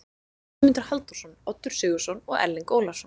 Guðmundur Halldórsson, Oddur Sigurðsson og Erling Ólafsson.